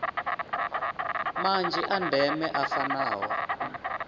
manzhi a ndeme a fanaho